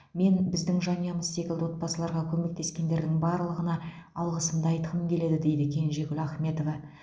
мен біздің жанұямыз секілді отбасыларға көмектескендердің барлығына алғысымды айтқым келеді дейді кенжегүл ахметова